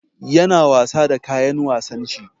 Yana wasa da kayan wasan shi.